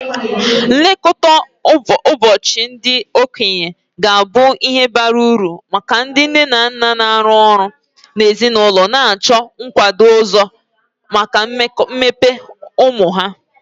Nlekọta ụbọchị ndị okenye ga-abụ ihe bara uru maka ndị nne na nna na-arụ ọrụ na ezinụlọ na-achọ nkwado ọzọ maka mmepe ụmụ ha.